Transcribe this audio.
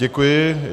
Děkuji.